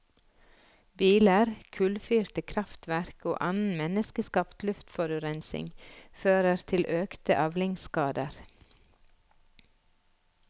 Biler, kullfyrte krafftverk og annen menneskeskapt luftforurensning fører til økte avlingsskader.